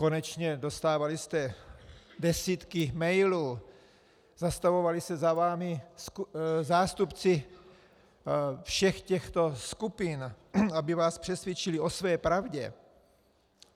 Konečně dostávali jste desítky mailů, zastavovali se za vámi zástupci všech těchto skupin, aby vás přesvědčili o své pravdě.